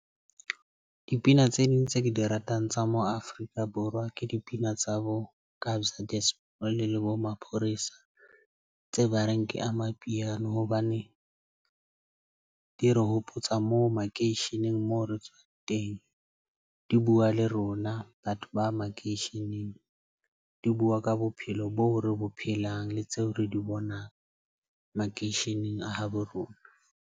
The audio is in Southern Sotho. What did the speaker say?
Dipina tse ding tse ke di ratang tsa mo Afrika-Borwa ke dipina tsa bo Kabza De Small le bo Maphorisa tse ba reng ke Amapiano. Hobane di re hopotsa moo makeisheneng moo re tswang teng. Di bua le rona, batho ba makeisheneng di bua ka bophelo boo re bo phelang le tseo re di bonang makeisheneng a habo rona.